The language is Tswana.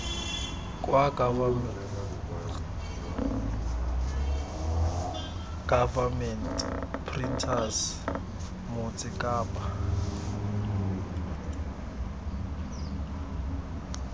kwa government printers motse kapa